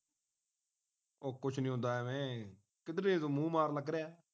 ਉਹ ਕੁਝ ਨਹੀਂ ਹੁੰਦਾ ਇਵੈ ਕਿਧਰੇ ਤੂੰ ਮੂੰਹ ਮਾਰਨ ਲੱਗ ਰਿਹਾ ਹੈ